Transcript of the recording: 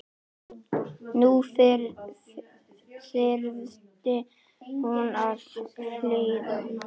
Nú þyrfti hún að hlýða.